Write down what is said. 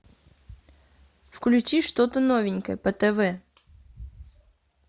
включи что то новенькое по тв